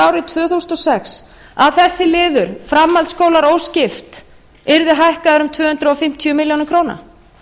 árið tvö þúsund og sex að þessi liður framhaldsskólar óskipt yrði hækkaður um tvö hundruð fimmtíu milljónir króna